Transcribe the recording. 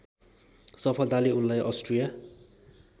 सफलताले उनलाई अष्ट्रिया